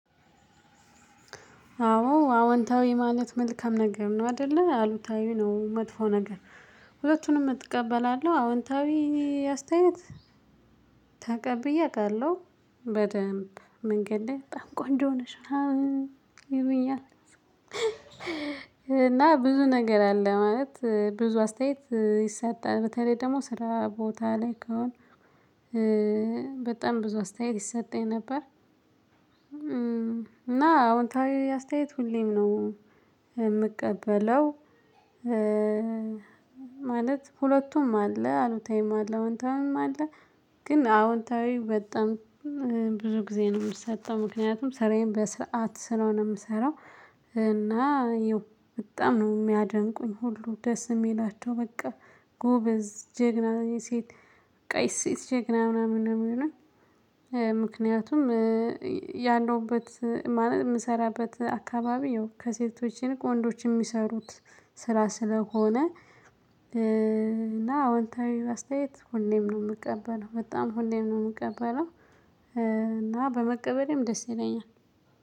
አዎ አዎንታዊ ማለት መልካም ነገር ነው አይደለ አሉታዊ ነው መጥፎ ነገር። ሁለቱንም እቀበላለሁ አዎንታዊ አስተያየት ተቀብዬ አውቃለሁ። በደንብ መንገድ ላይ በጣም ቆንጆ ነሽ ይሉኛል። እና ብዙ ነገር አለ ማለት ብዙ አስተያየት ይሰጣል በተለይ ደግሞ ስራ ቦታ ላይ ከሆነ በጣም ብዙ አስተያየት ይሰጠኝ ነበር። እና አዎንታዊ አስተያየት ሁሌም ነው የምቀበለው። ማለት ሁለቱም አለ አሉታዊም አለ አዎንታዊም አለ። ግን አዎንታዊ በጣም ብዙ ጊዜ ነው የምትሰጠው ምክንያቱም ስራዬን በስርዓት ስለሆነ የምሰራው። እና በጣም ነው የሚያደንቁኝ ሁሉ ደስ የሚላቸው በቃ ጎበዝ ጀግና ሴት ቀይ ሴት ጀግና ምናምን ነው የሚሆነው። ምክንያቱም ያለውበት የምሰራበት አካባቢ ይሁን ከሴቶችን ወንዶችን የሚሰሩት ስራ ስለሆነ። አዎንታዊ አስተያየት ሁሌም ነው የምቀበለው በጣም ሁሌም ነው የምቀበለው። እና በመቀበሌም ደስ ይለኛል።